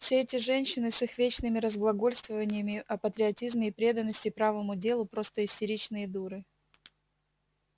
все эти женщины с их вечными разглагольствованиями о патриотизме и преданности правому делу просто истеричные дуры